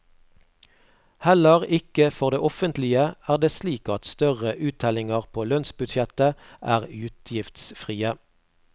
Heller ikke for det offentlige er det slik at større uttellinger på lønnsbudsjettet er utgiftsfrie.